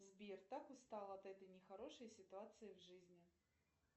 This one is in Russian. сбер так устала от этой нехорошей ситуации в жизни